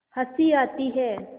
हँसी आती है